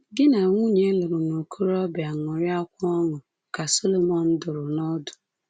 Gi na nwunye ị lụrụ n’okorobia ṅụrịakwa ọṅụ, ka Solomọn dụrụ n’ọdụ.